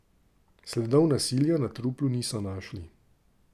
Sledov nasilja na truplu niso našli.